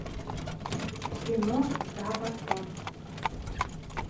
кино за бортом